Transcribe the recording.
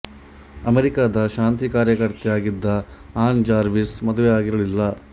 ಅಮೆರಿಕದ ಶಾಂತಿ ಕಾರ್ಯಕರ್ತೆ ಆಗಿದ್ದ ಅನಾ ಜಾರ್ವಿಸ್ ಮದುವೆ ಆಗಿರಲಿಲ್ಲ